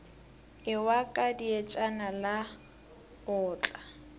ewa ka dietšana la otla